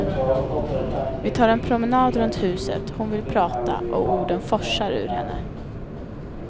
Vi tar en promenad runt huset, hon vill prata och orden forsar ur henne.